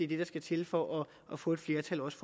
det der skal til for at få et flertal også